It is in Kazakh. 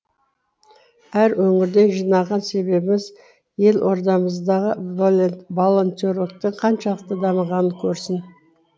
әр өңірден жинаған себебіміз елордамыздағы волонтерліктің қаншалықты дамығанын көрсін